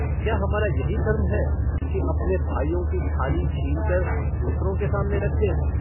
क्या हमारा यही धर्म है कि अपने भाइयों की थाली छीनकर दूसरों के सामने रख दें।